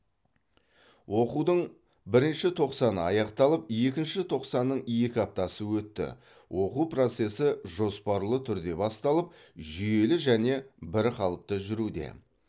оқудың бірінші тоқсаны аяқталып екінші тоқсанның екі аптасы өтті оқу процесі жоспарлы түрде басталып жүйелі және бірқалыпты жүруде